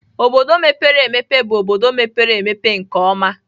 obodo mepere emepe bụ obodo mepere emepe nke ọma.